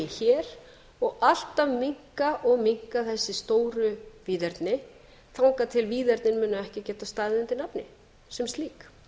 hér og alltaf minnka og minnka þessi stóru víðerni þangað til víðernin munu ekki geta staðið undir nafni sem slík